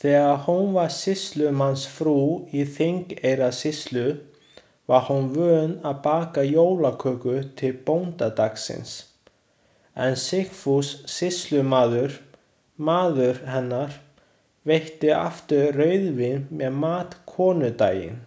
Þegar hún var sýslumannsfrú í Þingeyjarsýslu, var hún vön að baka jólaköku til bóndadagsins, en Sigfús sýslumaður, maður hennar, veitti aftur rauðvín með mat konudaginn.